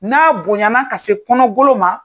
N'a bonyana ka se kɔnɔ golo ma.